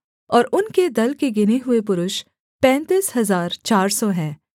और उनके दल के गिने हुए पुरुष पैंतीस हजार चार सौ हैं